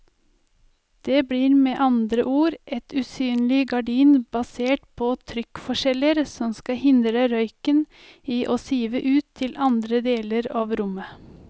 Det blir med andre ord et usynlig gardin basert på trykkforskjeller som skal hindre røyken i å sive ut til andre deler av rommet.